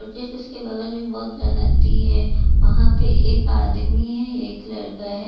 उसके बगल में बहुत बड़ा नदी है वहाँ पे एक आदमी है एक लड़का है।